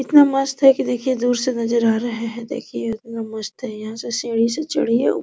कितना मस्त है की दूर से नजर आ रहा है देखिए इतना मस्त है यहाँ से सीढ़ियों से चढ़िए।